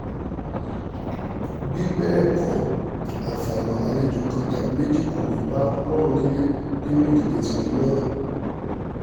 bí bẹ́ẹ̀ kọ́ àfàìmọ̀ lálejò kan tàbí méjì kò ní í bọlọ́run nílẹ̀ nínú ìdílé tiwọn náà